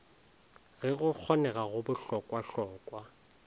ge go kgonega go bohlokwahlokwa